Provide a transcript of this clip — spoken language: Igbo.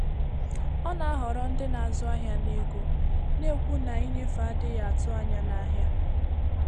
Ọ na-ahọrọ ndị na-azụ ahịa na ego, na-ekwu na ịnyefe adịghị atụ anya na ahịa.